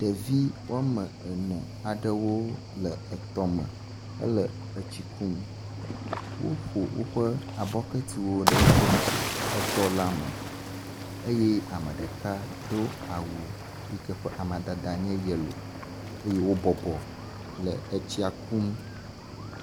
ɖevi woame ene aɖewo wóle etɔme hele etsi kum wóƒo wóƒe abɔkɛtiwo le etɔlame eye ameɖeka dó awu si ƒe amadede nye yelò eye wó bɔbɔ le etsia kum